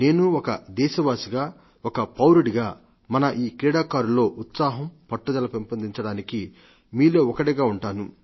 నేను ఒక దేశవాసిగా ఒక పౌరుడిగా మన ఈ క్రీడాకారులలో ఉత్సాహం పట్టుదల పెంపొందించడానికి మీలో ఒకడిగా ఉంటాను